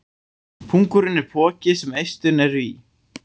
Pungurinn er poki sem eistun eru í.